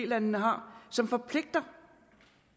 landene har som forpligter